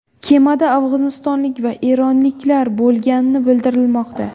Kemada afg‘onistonlik va eronliklar bo‘lgani bildirilmoqda.